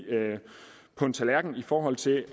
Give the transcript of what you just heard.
på en tallerken i forhold til